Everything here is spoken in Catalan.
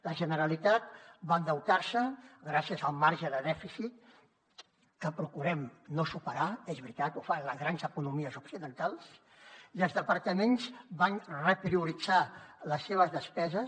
la generalitat va endeutar se gràcies al marge de dèficit que procurem no superar és veritat ho fan les grans economies occidentals i els departaments van reprioritzar les seves despeses